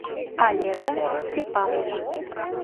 олега степанова